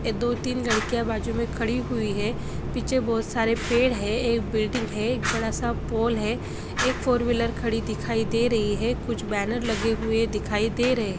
ये दो तीन लड़किया बाजुमे खड़ी हुई है पीछे बोहोत सारे पेड़ है एक बिल्डिंग है एक बडा सा पोल है एक फोर व्हीलर खड़ी दिखाई दे रही है कुछ बैनर लगे हुवे दिखाई दे रहे है ।